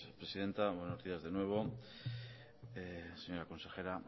presidenta buenos días de nuevo señora consejera